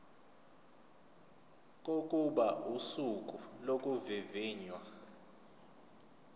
kokuba usuku lokuvivinywa